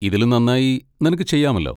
ഇതിലും നന്നായി നിനക്ക് ചെയ്യാമല്ലോ?